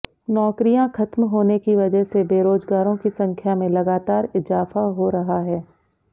नौकरियां ख़त्म होने की वजह से बेरोजगारों की संख्या में लगातार इजाफा हो रहा है